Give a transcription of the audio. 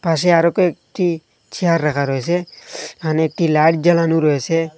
পাশে আরও কয়েকটি চেয়ার রাখা রয়েসে এখানে একটি লাইট জ্বালানো রয়েসে।